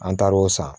An taar'o san